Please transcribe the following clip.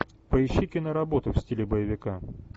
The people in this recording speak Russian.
поищи киноработу в стиле боевика